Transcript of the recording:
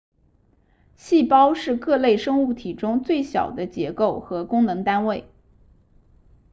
细胞是各类生物体中最小的结构和功能单位